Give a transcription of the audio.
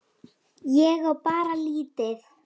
Ég á bara lítið.